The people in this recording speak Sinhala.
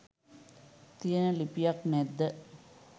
තියෙන ලිපියක් නැද්ද?